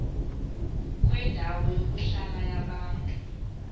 kwendawo yokuhlala yabantu